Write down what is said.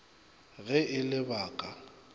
ge e le ba ka